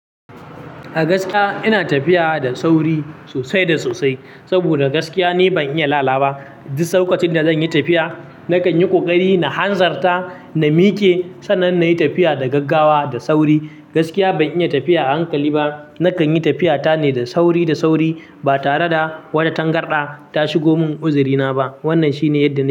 A gaskiya ina tafiya da sauri sosai da sosai saboda gaskiya ni ban iya lalaba. Duk lokacin da zanyi tafiya nakan yi ƙoƙari na hanzarta na miƙe sannan nayi tafiya da gaggawa da sauri. Gaskiya ban iya tafiya a hankali ba, nakan yi tafiya ta ne da sauri da sauri ba tare da wata tangarɗa ta shigo mun uzurina ba. Wannan shi ne yadda nayi.